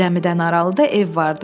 Zəmidən aralıda ev vardı.